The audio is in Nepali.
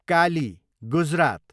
काली, गुजरात